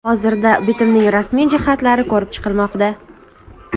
Hozirda bitimning rasmiy jihatlari ko‘rib chiqilmoqda.